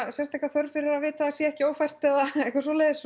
sérstaka þörf fyrir að vita að það sé ekki ófært eða eitthvað svoleiðis